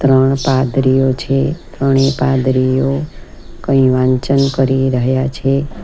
ત્રણ પાદરીઓ છે ત્રણે પાદરીઓ કંઈ વાંચન કરી રહ્યા છે.